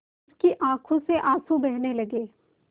उसकी आँखों से आँसू बहने लगे